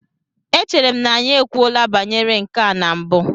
Echere m na anyị ekwuola banyere nke a na mbụ?